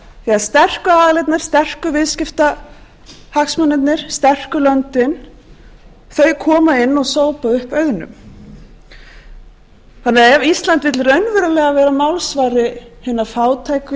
þegar sterku aðilarnir sterku viðskiptahagsmunirnir sterku löndin koma inn og sópa upp auðnum þannig ef ísland vill raunverulega vera málsvari hinna fátæku